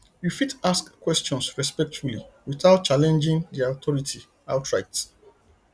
you fit ask questions respectfully without challenging their authority outright